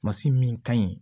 Masi min ka ɲi